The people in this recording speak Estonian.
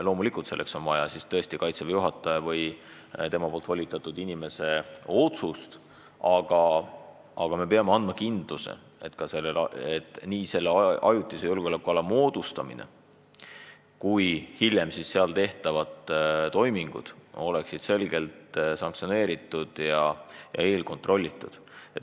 Loomulikult, selleks on vaja Kaitseväe juhataja või tema volitatud inimese otsust, aga me peame andma kindluse, et nii ajutise julgeolekuala moodustamine kui hiljem seal tehtavad toimingud on selgelt sanktsioneeritud ja eelkontrollitud.